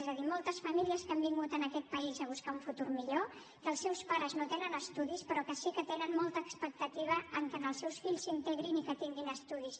és a dir moltes famílies que han vingut a aquest país a buscar un futur millor que els seus pares no tenen estudis però sí que tenen molta expectativa en el fet que els seus fills s’integrin i tinguin estudis